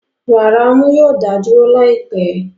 Wàrà ọmú yoo da duro laipẹ